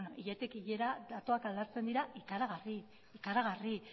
hiletik hilera datuak aldatzen dira ikaragarri ikaragarri